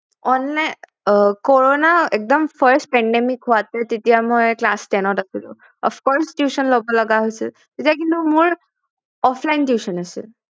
online কৰ'না একদম first pandemic হোৱাতে তেতিয়া মই class ten ত আছিলো off course tuition লব লগা হৈছিল তেতিয়া কিন্তু মোৰ offline tuition আছিল